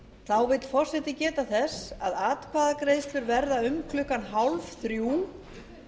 þá vill forseti geta þess að atkvæðagreiðslur verða um klukkan fjórtán þrjátíu og nýr fundur að þeim loknum